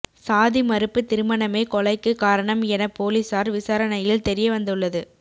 சாதி மறுப்பு திருமணமே கொலைக்கு காரணம் என போலீசார் விசாரணையில் தெரியவந்துள்ளது